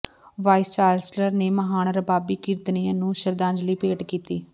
vice chancellor ਨੇ ਮਹਾਨ ਰਬਾਬੀ ਕੀਰਤਨੀਏ ਨੂੰ ਸ਼ਰਧਾਂਜਲੀ ਭੇਟ ਕੀਤੀ